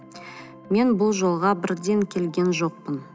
мен бұл жолға бірден келген жоқпын